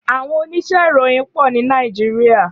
Áwòn óníṣè iróyin pò ni Nàijiriá